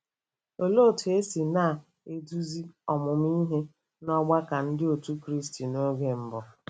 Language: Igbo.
Olee otú e si na-eduzi ọmụmụ ihe n’ọgbakọ Ndị Otú Kristi oge mbụ?